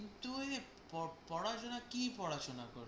কিন্তু ওই, প~ পড়াশোনা কী পড়াশোনা?